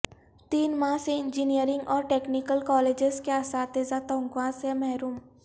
تین ماہ سے انجینئرنگ اور ٹیکنیکل کالجس کے اساتذہ تنخواہ سے محروم